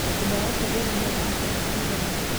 Nyũmba yaku ĩna metha na itĩ cigana?